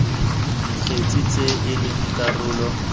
dikgetse tse e leng karolo